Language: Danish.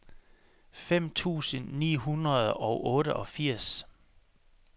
femten tusind ni hundrede og otteogfirs